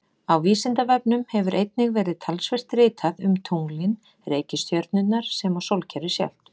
Á Vísindavefnum hefur einnig verið talsvert ritað um tunglin, reikistjörnurnar sem og sólkerfið sjálft.